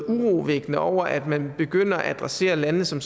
urovækkende over at man begynder at adressere landene som